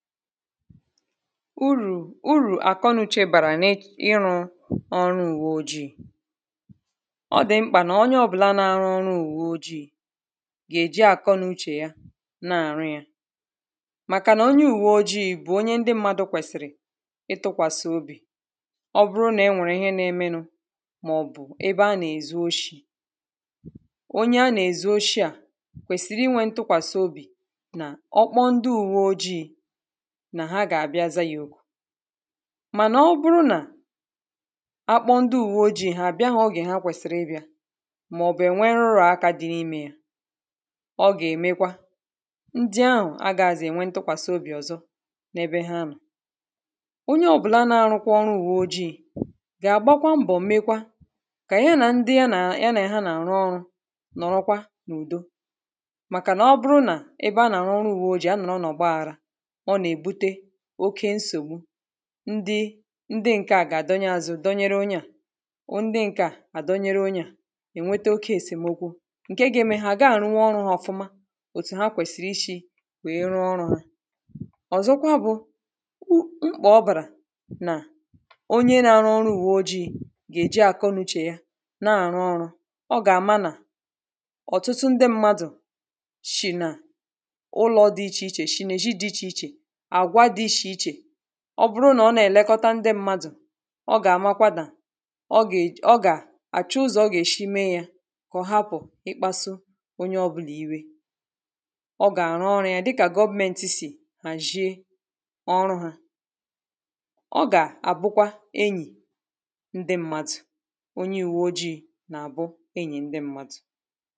Urù, urù àkọnuchè bàrà n’ n’ịrụ̄ ọrụ ùwe ojiī ọ dị̀ mkpà nà onye ọ̀bụ̀la na-arụ ọrụ ùwe ojiī gà-èji àkọnuchè ya na-àrụ yā màkà nà onye ùwe ojiī bụ̀ onye ndị mmadụ̄ kwèsìrì ịtụ̄kwàsị̀ obì ọ bụrụ nà enwè ihe na-emenū màọ̀bụ̀ ebe anà-èzu oshī onye anà-èzuoshi à kwèsìrì inwē ntụkwàsiobì nà ọ kpọ ndị ùwe ojiī nà ha gà bịa za yā òkù mànà ọ bụrụ nà akpọ ndị ùwe ojiī hà àbịahọ̄ ogè ha kwèsìrì ịbị̄a màọ̀bụ̀ ènwe nrụ̀akā dị n’imē ya ọ gà-èmekwa ndị ahụ̀ agāzị̀ ènwe ntụkwàsị obì ọ̀zọ n’ebe ha nọ̀ onye ọ̀bụ̀la na-arụkwa ọrụ ùwe ojiī gà-àgbakwa mbọ̀ mekwa kà ya nà ndị ya nà ya nà ha nà-àrụ ọrụ̄ nọ̀rọkwa n’ùdo màkà nà ọ bụrụ nà ebe anà-àrụ ọrụ ùwe ojiī a nọ̀rọ̀ n’ọ̀gbaghara ọ nà-èbute oke nsògbu ndị ndị ǹkè a gà-àdọnye azụ dọnyere onye à ndị ǹkè a àdọnyere onye à ènwete oke èsèmokwu ǹke ga-eme ha àgaà àrụnwu ọrụ̄ ha ọ̀fụma òtù ha kwèsì ishī wèe rụọ ọrụ̄ ha ọ̀zọkwa bụ̄ u mkpà ọ bàrà nà onye na-arụ ọrụ ùwe ojiī gà-èji àkọnuchè ya na-àrụ ọrụ̄ ọ gà-àma nà ọ̀tụtụ ndị mmadụ̀ shì nà ụlọ̄ dị ichè ichè shì nà èzhi dị ichè ichè àgwa dị ishè ichè ọ bụrụ nà ọ nà-èlekọta ndị mmadụ̀ ọ gà-àmakwa nà ọ gà-èj ọ gà àchọ uzò ọ gà-èshi me yā kà ọ hapụ̀ ịkpāsu onye ọbụlà iwe ọ gà-àrụ ọrụ̄ ya dịkà government sì hàzhie ọrụ hā ọ gà-àbụkwa enyì ndị mmadụ̀ onye ùwe ojiī nà-àbụ enyì ndị mmadụ̀